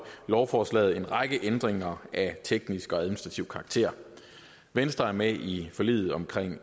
lovforslaget en række ændringer af teknisk og administrativ karakter venstre er med i forliget om